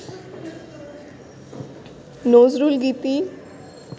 Nazrul Geeti